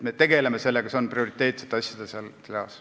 Me tegeleme sellega, see on prioriteetsete asjade seas.